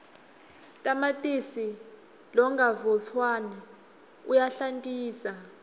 tamatisi longavutfwaneja uyahlantisa